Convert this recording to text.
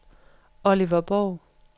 Oliver Borg